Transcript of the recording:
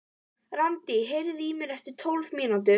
Randí, heyrðu í mér eftir tólf mínútur.